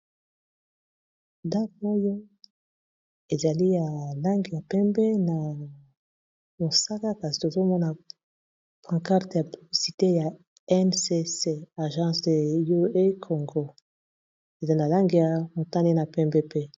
Dag oyo ezali ya langi ya pembe na mosaka kasi tozomona pantcarte ya publicite ya Mcc agence de UE congo ezali na langi ya motane na pembe pe.